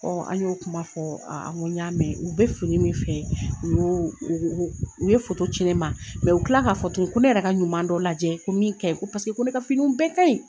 an y'o kuma fɔ n ko n y'a mɛ. U be fini min fɛ u b'o o o o u ye ci ne ma u tila k'a fɔ tugu ko ne yɛrɛ ka ɲuman dɔ lajɛ ko min kanyi ko ko ne ka fininw bɛɛ kaɲi.